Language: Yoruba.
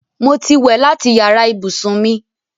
Mo ti wẹ̀ láti yàrá ibùsùn mi